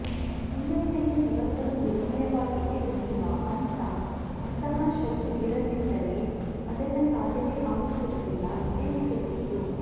ಹೆಂಗಸರಿಗೆ ಜಗತ್ತನ್ನು ನಿರ್ಭಯವಾಗಿ ಎದುರಿಸುವ ಅಂಥಾ ಅಂತಃಶಕ್ತಿ ಇರದಿದ್ದರೆ ಅದೆಲ್ಲಾ ಸಾಧ್ಯವೇ ಆಗುತ್ತಿರಲಿಲ್ಲ ಎನ್ನಿಸುತ್ತಿತ್ತು